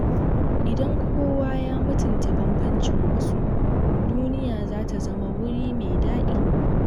Idan kowa ya mutunta bambancin wasu, duniya za ta zama wuri mai daɗi.